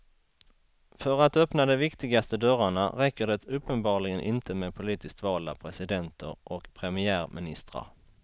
För att öppna de viktigaste dörrarna räcker det uppenbarligen inte med politiskt valda presidenter och premiärministrar.